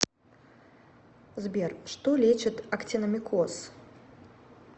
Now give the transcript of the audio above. сбер что лечит актиномикоз